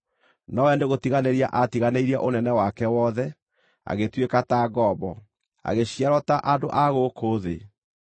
nowe nĩgũtiganĩria aatiganĩirie ũnene wake wothe, agĩtuĩka ta ngombo, agĩciarwo ta andũ a gũkũ thĩ.